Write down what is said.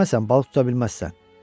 Yeməsən balıq tuta bilməzsən.